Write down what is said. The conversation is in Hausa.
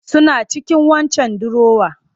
Suna cikin waccan dirowar